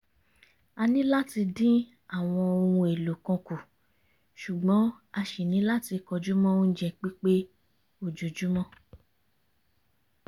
a ni láti dín àwọn ohun èlò kan kù ṣùgbọ́n a ṣì ní láti kọjú mọ́ oúnjẹ pípé ojoojúmọ́